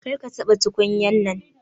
Kar ka taba tukunyan nan.